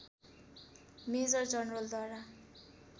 major जनरलद्वारा